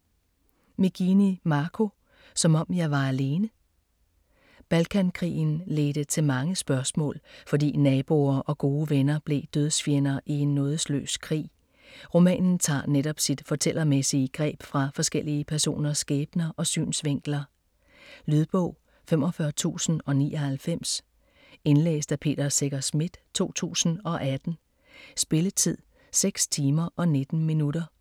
Magini, Marco: Som om jeg var alene Balkankrigen ledte til mange spørgsmål, fordi naboer og gode venner blev dødsfjender i en nådesløs krig. Romanen tager netop sit fortællermæssige greb fra forskellige personers skæbner og synsvinkler. Lydbog 45099 Indlæst af Peter Secher Schmidt, 2018. Spilletid: 6 timer, 19 minutter.